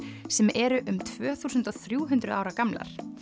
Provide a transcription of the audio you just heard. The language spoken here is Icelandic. sem eru um tvö þúsund og þrjú hundruð ára gamlar